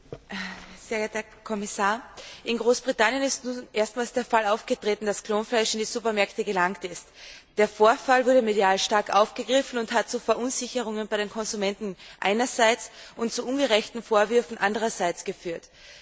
Herr Präsident, Herr Kommissar! In Großbritannien ist erstmals der Fall aufgetreten, dass Klonfleisch in die Supermärkte gelangt ist. Der Vorfall wurde medial stark aufgegriffen und hat zu Verunsicherungen bei den Konsumenten einerseits und zu ungerechten Vorwürfen andererseits geführt.